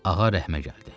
Ağa rəhmə gəldi.